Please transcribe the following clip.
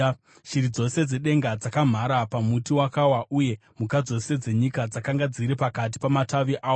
Shiri dzose dzedenga dzakamhara pamuti wakawa, uye mhuka dzose dzenyika dzakanga dziri pakati pamatavi awo.